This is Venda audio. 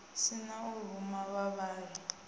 si na u ruma vhavhali